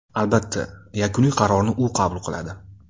Albatta, yakuniy qarorni u qabul qiladi.